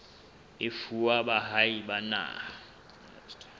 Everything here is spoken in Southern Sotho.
e fuwa baahi ba naha